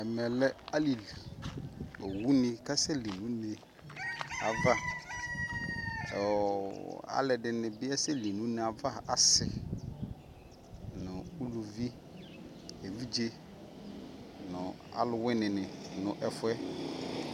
ɛmɛ lɛ alili, ɔwʋni kasɛ li nʋ ʋnɛ aɣa, alʋɛdini bi asɛ li nʋ ʋnɛ aɣa asii nʋ ʋlʋvi, ɛvidzɛ nʋ alʋwini ni nʋ ɛƒʋɛ